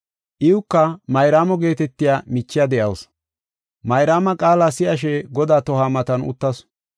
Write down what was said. Iwuka Mayraamo geetetiya michiya de7awusu, Mayraama qaala si7ashe Godaa tohuwa matan uttasu.